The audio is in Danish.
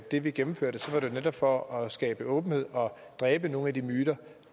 det vi gennemførte ser man at det for at skabe åbenhed og dræbe nogle af de myter